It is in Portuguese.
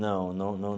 Não, não, não.